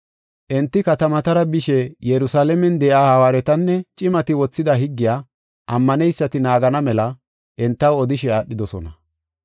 Enti katamatara bishe Yerusalaamen de7iya hawaaretinne cimati wothida higgiya ammaneysati naagana mela entaw odishe aadhidosona.